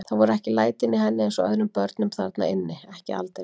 Það voru ekki lætin í henni eins og öðrum börnum þarna inni, ekki aldeilis.